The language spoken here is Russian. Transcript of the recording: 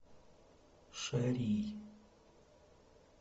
шарий